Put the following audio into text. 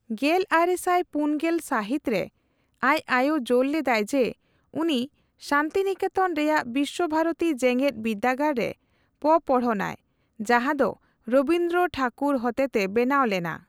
ᱜᱮᱞᱟᱨᱮᱥᱟᱭ ᱯᱩᱱᱜᱮᱞ ᱥᱟᱹᱦᱤᱛ ᱨᱮ, ᱟᱡ ᱟᱭᱳ ᱡᱳᱨ ᱞᱮᱫᱟᱭ ᱡᱮ ᱩᱱᱤ ᱥᱟᱱᱛᱤᱱᱮᱠᱮᱛᱚᱱ ᱨᱮᱭᱟᱜ ᱵᱤᱥᱥᱚᱵᱷᱟᱨᱚᱛᱤ ᱡᱮᱜᱮᱫᱵᱤᱫᱽᱫᱟᱹᱜᱟᱲ ᱨᱮ ᱯᱚᱯᱚᱲᱦᱚᱱᱼᱟᱭ, ᱡᱟᱦᱟᱸᱫᱚ ᱨᱚᱵᱤᱱᱫᱨᱚ ᱴᱷᱟᱹᱠᱩᱨ ᱦᱚᱛᱮᱛᱮ ᱵᱮᱱᱟᱣ ᱞᱮᱱᱟ ᱾